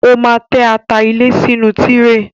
Ó máa tẹ́ ata ilẹ̀ sínú tíréè.